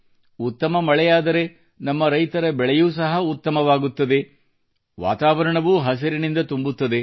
ಉತ್ತಮ ಮಳೆಯಾದರೆ ನಮ್ಮ ರೈತರ ಬೆಳೆಯೂ ಸಹ ಉತ್ತಮವಾಗುತ್ತದೆ ವಾತಾವರಣವೂ ಹಸಿರಿನಿಂದ ತುಂಬುತ್ತದೆ